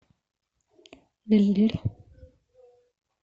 лилль